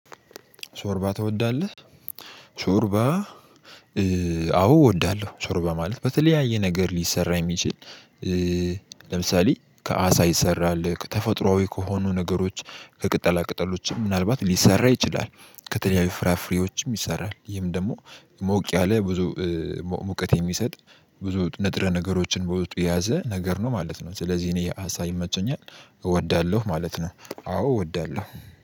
ሾርባ ትወዳለህ? ሾርባ አዎ እወዳለሁ ሾርባ ማለት በተለያየ ነገር ሊሰራ የሚችል። ለምሳሌ ከአሳ ይሰራል ተፈጥሮአዊ ከሆኑ ነገሮች ከቅጠላ ቅጠሎችም ምናልባት ሊሰራ ይችላል። ከተለያዩ ፍራፍሬዎችም ይሰራል ይህም ደግሞ ሞቅ ያለ ብዙ ሙቀት የሚሰጥ ብዙ ንጥረ ነገሮችን በውስጡ የያዘ ነገር ነው ማለት ነው። ስለዚህ እኔ አሳ ይመቸኛል እወዳለሁ ማለት ነው። አዎ እወዳለሁ